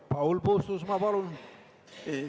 Paul Puustusmaa, palun!